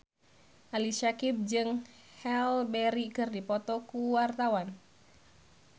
Ali Syakieb jeung Halle Berry keur dipoto ku wartawan